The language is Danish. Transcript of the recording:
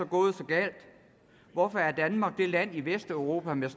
gået så galt hvorfor er danmark det land i vesteuropa med